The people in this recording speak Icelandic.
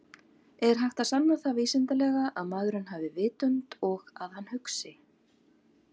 Er hægt að sanna það vísindalega að maðurinn hafi vitund og að hann hugsi?